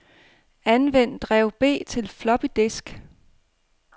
Anvend drev B til floppydisk.